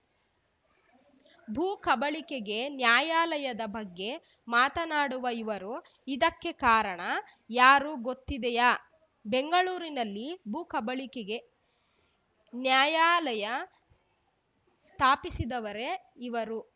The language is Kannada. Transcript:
ಭೂ ಕಬಳಿಕೆಗೆ ನ್ಯಾಯಾಲಯದ ಬಗ್ಗೆ ಮಾತನಾಡುವ ಇವರು ಇದಕ್ಕೆ ಕಾರಣ ಯಾರು ಗೊತ್ತಿದೆಯಾ ಬೆಂಗಳೂರಿನಲ್ಲಿ ಭೂ ಕಬಳಿಕೆಗೆ ನ್ಯಾಯಾಲಯ ಸ್ಥಾಪಿಸಿದವರೇ ಇವರು